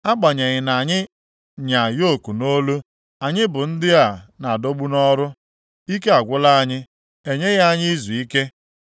Agbanyeghị na anyị nya yoku nʼolu, anyị bụ ndị a na-adọgbu nʼọrụ, ike agwụla anyị, enyeghị anyị izuike.